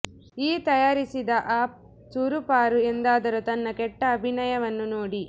ಈ ತಯಾರಿಸಿದ ಅಪ್ ಚೂರುಪಾರು ಎಂದಾದರೂ ತನ್ನ ಕೆಟ್ಟ ಅಭಿನಯವನ್ನು ನೋಡಿ